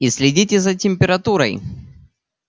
и следите за температурой